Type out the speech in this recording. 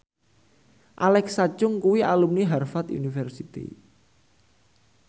Alexa Chung kuwi alumni Harvard university